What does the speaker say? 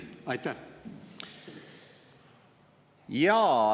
Jaa.